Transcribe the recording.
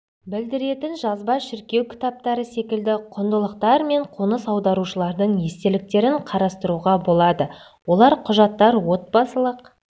білдіретін жазба шіркеу кітаптары секілді құндылықтар мен қоныс аударушылардың естеліктерін қарастыруға болады олар құжаттар отбасылық